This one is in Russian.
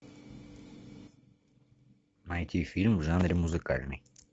найти фильм в жанре музыкальный